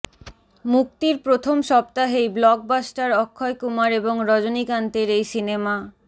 মুক্তির প্রথম সপ্তাহেই ব্লকবাস্টার অক্ষয় কুমার এবং রজনীকান্তের এই সিনেমা